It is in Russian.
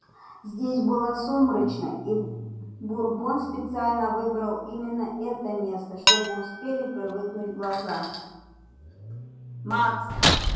здесь было сумрачно и бурбон специально выбрал именно это место чтобы успели привыкнуть глаза